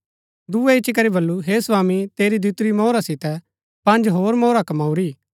दूये इच्ची करी बल्लू हे स्वामी तेरी दितुरी मोहरा सितै पँज होर मोहरा मैंई कमाँऊरी